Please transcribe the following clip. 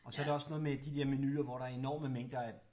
Og så er der også noget med de dér menuer hvor der er enorme mængder af